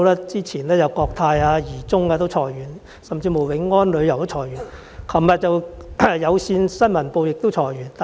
早前國泰航空和怡中航空裁員、永安旅遊裁員，而昨天有線新聞部亦裁員。